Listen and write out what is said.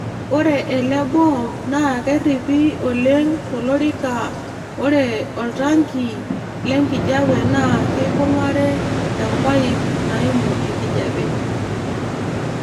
Ore ele boom naa kerripi oleng tolorika ore oltanki le nkijape naa keibung'are empaip naaimu enkijape.